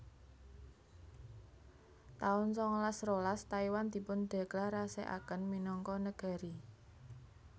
taun sangalas rolas Taiwan dipundéklarasèkaken minangka negari